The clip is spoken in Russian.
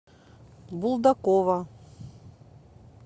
булдакова